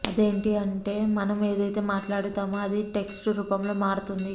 అదేంటి అంటే మనం ఏదైతే మాట్లాడుతామో అది టెక్ట్స్ రూపంలో మారుతుంది